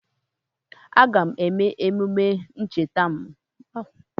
Aga m eme emume ncheta ọmụmụ m n'ụlọ mgbei n'afọ a.